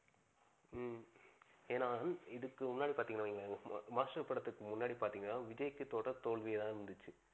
ஹம் ஏன்னா இதுக்கு முன்னாடி பாத்திங்கனு வைங்க, மா மாஸ்டர் படத்துக்கு முன்னாடி பாத்திங்கனா விஜய்க்கு தொடர் தோல்வியா தான் இருந்துச்சு.